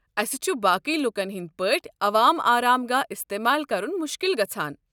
اسہِ چھُ باقٕے لوٗکن ہٕنٛدۍ پٲٹھۍ عوام آرام گاہ استعمال کرُن مشکِل گژھان۔